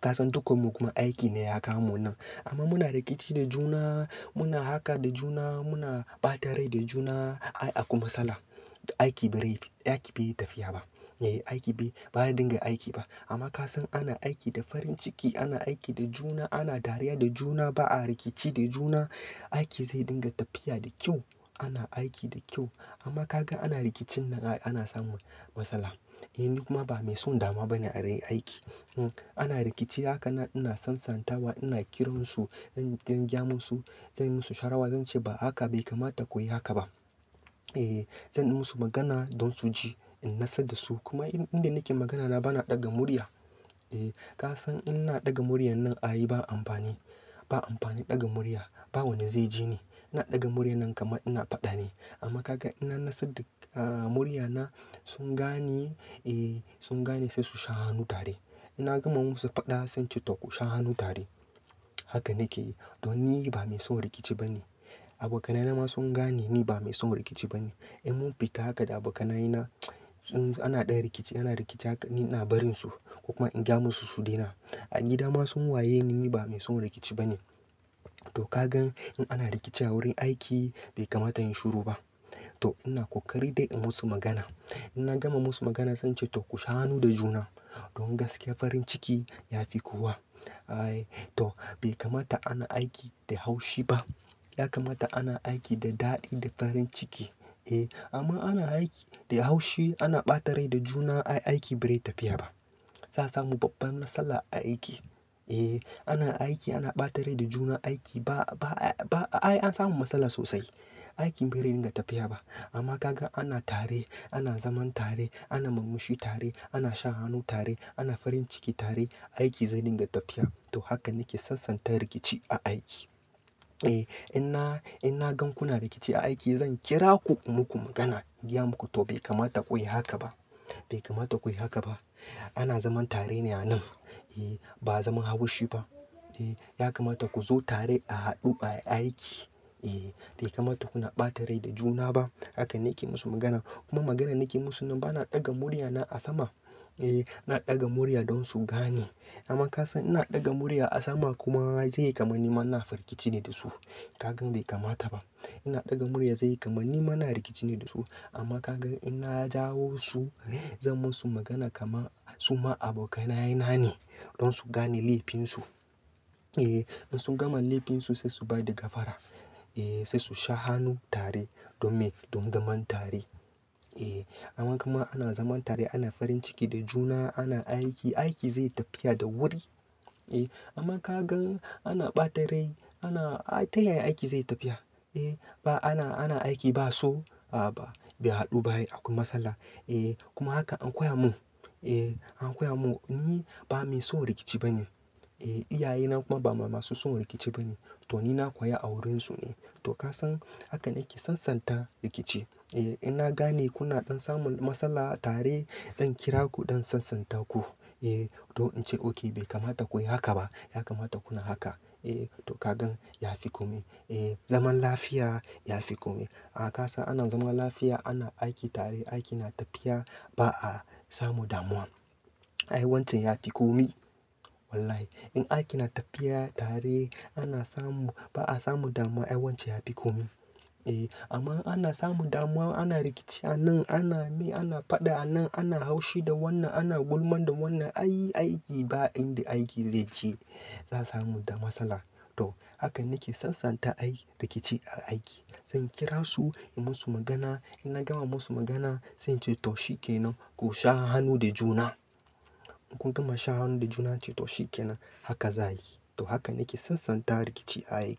Ka san dukan mu kuma aiki ne ya kawomu nan. Amma muna rikici da juna, muna haka da juna, muna ɓata rai da juna. Ai akwai matsala, aiki ba rai aiki baiyi tafiya ba. Eh aiki bai, ba ya dinga aiki ba. Amma ka san ana aiki da farin ciki ana aiki da juna ana dariya da juna ba a rikici da juna, aiki zai dinga tafiya da kyau. Ana aiki da kyau. Amma ka gan ana rikicin nan ana samu matsala. Eh ni kuma ba mai son damuwa ba ne a wurin aiki. Hmm, ana rikici haka na ina sansantawa ina kiran su don, don gyamon su. Zan yi musu sharawa, zan ce ba haka bai kamata ku yi haka ba. Eh zan yi musu magana don su ji in natsar da su. Kuma inda nake magana na ba na ɗaga murya. Eh ka san in na ɗaga murya nan ayi ba amfani. Ba amfani ɗaga murya. Ba wani zai ji ni. Na ɗaga murya nan kama ina faɗa ne. Amma ka gan in na natsar da, ahh murya na sun gane, eh sun gane sai su sha hanu tare. In na gama musu faɗa sai ce to ku sha hanu tare. Haka nake yi. To ni ba mai son rikici ba ne. Abokanai na ma sun gane ni ba mai son rikici ba ne. In mun fita haka da abokanaye na, ts, ana ɗaya rikici ana rikici haka ni na barin su. Kuma in gya mu su su daina. A gida ma sun waye ni ba mai son rikici ba ne. To ka gan in ana rikici a wurin aiki bai kamata in shiru ba. To ina kokari dai in musu magana. In na gama musu magana zan ce to ku sha hanu da juna. Don gaskiya farin ciki ya fi kowa. Ai to bai kamata ana aiki da haushi ba. Ya kamata ana aiki da daɗi da farin ciki. Eh amma ana aiki da haushi ana ɓata rai da juna ai aiki bai rai tafiya ba. Za samu babban matsala a aiki. Eh ana aiki ana ɓata rai da juna aiki ba, ba ai an samu matsala sosai. Aiki bai rai dinga tafiya ba. Amma ka gan ana tare ana zaman tare ana murmushi tare ana shan hanu tare ana farin ciki tare, aiki zai dinga tafiya. To haka nake sansanta rikici a aiki. Eh ina, ina gan kuna rikici a aiki zan kira ku in muku magana in gya muku to bai kamata ku yi haka ba. Bai kamata ku yi haka ba. Ana zaman tare ne a nan. Eh ba zaman haushi ba. Eh ya kamata ku zo tare a haɗu ba a aiki. Eh bai kamata kuna ɓata rai da juna ba. Haka nake musu magana. Kuma maganan nake musu nan ba na ɗaga murya na a sama. Eh na ɗaga murya don su gane. Amma ka san ina ɗaga murya a sama kuma zai yi kamar ni mana fa rikici ne da su. Ka gan bai kamata ba. Ina ɗaga murya zai yi kamar ni mana rikici ne da su. Amma ka gan ina jawo su, zan musu magana kama su ma abokanaye na ne don su gane laifinsu. Eh in sun gama laifinsu sai su bai da gafara. Eh sai su sha hanu tare don me, don zaman tare. Eh amma kama ana zaman tare ana farin ciki da juna ana aiki, aiki zai tafiya da wuri. Eh amma ka gan ana ɓata rai ana ai ta yaya aiki zai tafiya? Eh ba ana, ana aiki ba so a ba bai haɗu ba akwai matsala. Eh kuma haka an koya mun. Eh an koya mun ni ba mai son rikici ba ne. Eh iyaye na kuma ba masu son rikici ba ne. To ni na koya a wurin su ne. To ka san haka nake sansanta rikici. Eh ina gane kuna ɗan samun matsala tare zan kira ku don sansanta ku. Eh to in ce oke bai kamata ku yi haka ba. Ya kamata kuna haka. Eh to ka gan ya fi komai. Eh zaman lafiya ya fi komai. Ah ka san ana zaman lafiya ana aiki tare aiki na tafiya ba a samu damuwa. Ai wancan ya fi komai. Wallahi in aiki na tafiya tare ana samu ba a samu damuwa ai wancan ya fi komai. Eh amma ana samu damuwa ana rikici a nan ana me ana faɗa a nan ana haushi da wannan ana gulman da wannan ai aiki ba inda aiki zai je za samu da matsala. To haka nake sansanta ai rikici a aiki. Zan kira su in musu magana. In na gama musu magana zan ce to shikenan ku sha hanu da juna. Kun gama sha hanu da juna ace to shikenan. Haka za yi. To haka nake sansanta rikici a aiki.